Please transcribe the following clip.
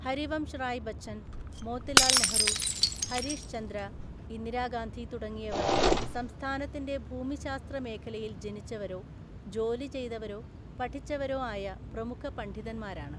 ഹരിവംശ് റായ് ബച്ചൻ, മോത്തിലാൽ നെഹ്‌റു, ഹരീഷ് ചന്ദ്ര, ഇന്ദിരാഗാന്ധി തുടങ്ങിയവർ സംസ്ഥാനത്തിന്റെ ഭൂമിശാസ്ത്ര മേഖലയിൽ ജനിച്ചവരോ ജോലി ചെയ്തവരോ പഠിച്ചവരോ ആയ പ്രമുഖ പണ്ഡിതന്മാരാണ്.